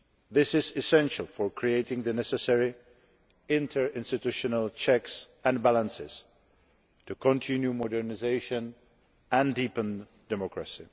This is essential for creating the necessary interinstitutional checks and balances to continue modernisation and deepen democracy.